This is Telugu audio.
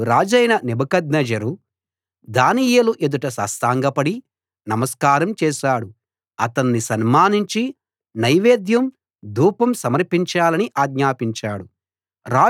అప్పుడు రాజైన నెబుకద్నెజరు దానియేలు ఎదుట సాష్ఠాంగపడి నమస్కారం చేశాడు అతణ్ణి సన్మానించి నైవేద్యం ధూపం సమర్పించాలని ఆజ్ఞాపించాడు